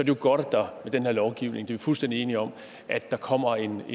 det godt at der med den her lovgivning det er vi fuldstændig enige om kommer en